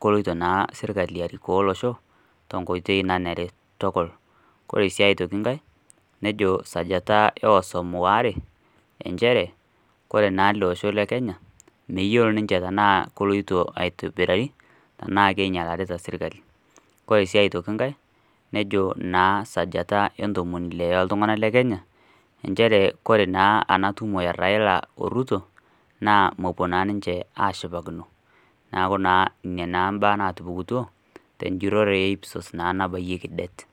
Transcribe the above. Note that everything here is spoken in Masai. keloito serkali arikoo olosho tenkoitoi nanare tukul koree sii atoki nkae nejo sii sajata ee osom are njere kore olosho le kenya meyiolo ninye enaa keloito aitobirari naa ainyalarita sirkali, ore naa aitoki nkae nejo sajata entomoni ile oo oltunganak lekenya njere wore naa enatumo e raila oo ruto naa mepuo naa sinje ashipakino neaku nena naa mbaa natupukutuo te njurore e IPSOS naa nabayieki det.